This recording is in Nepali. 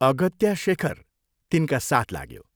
अगत्या शेखर तिनका साथ लाग्यो।